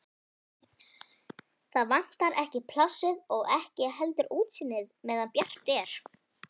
Það vantar ekki plássið og ekki heldur útsýnið-meðan bjart er.